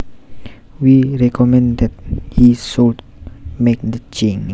We recommend that he should make the change